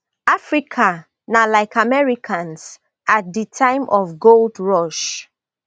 africa na like americas at di time of gold rush